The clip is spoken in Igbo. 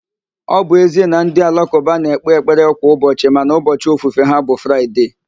Ọ bụ ezie na ndị alakụba na-ekpe ekpere kwa ụbọchị mana ubọchị ofufe ha bụ Fraịde